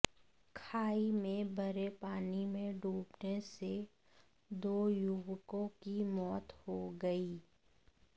खाई में भरे पानी में डूबने से दो युवकों की मौत हो गई